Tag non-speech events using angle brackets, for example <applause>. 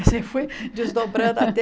E assim fui desdobrando até... <laughs>